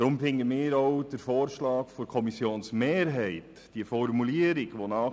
Deshalb erachten wir auch den Vorschlag der Kommissionsmehrheit mit der Formulierung «